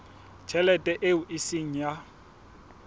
tjhelete eo e seng ya